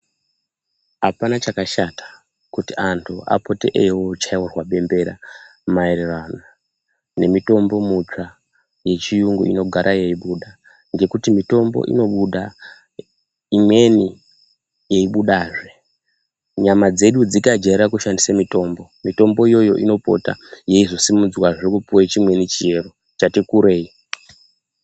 Apana chakashata, kuti antu apote eiochairwa bembera maererano nemitombo mutsva yechiyungu inogare yeibuda ngekuti mitombo inobuda imweni yeibudazve. Nyama dzedu dzikajaire kushandise mitombo, mitombo iyoyo inopota yeizosimudzwazve kupuwa chimweni chiro chati kurei.